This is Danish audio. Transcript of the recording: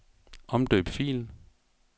Omdøb fil.